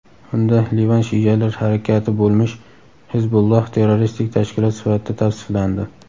Unda Livan shialar harakati bo‘lmish "Hizbulloh" terroristik tashkilot sifatida tavsiflandi.